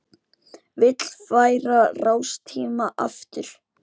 Vill færa rástíma aftar